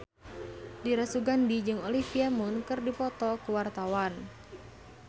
Dira Sugandi jeung Olivia Munn keur dipoto ku wartawan